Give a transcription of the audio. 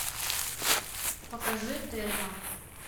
покажи тельма